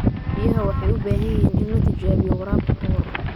Biyaha waxay u baahan yihiin in la tijaabiyo waraabka ka hor.